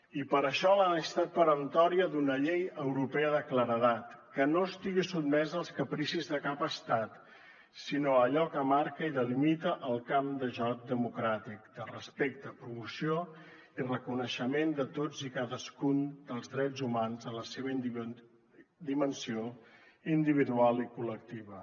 i per això la necessitat peremptòria d’una llei europea de claredat que no estigui sotmesa als capricis de cap estat sinó a allò que marca i delimita el camp de joc democràtic de respecte promoció i reconeixement de tots i cadascun dels drets humans en la seva dimensió individual i col·lectiva